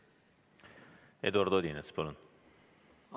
Eduard Odinets, palun!